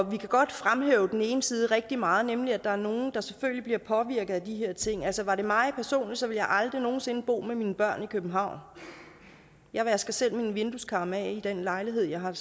vi kan godt fremhæve den ene side rigtig meget nemlig at der er nogle der selvfølgelig bliver påvirket af de her ting altså var det mig personligt ville jeg aldrig nogen sinde bo med mine børn i københavn jeg vasker selv vindueskarmene af i den lejlighed jeg har